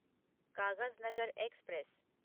Kagaznagar express